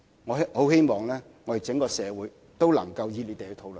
我很希望整個社會都能熱烈討論。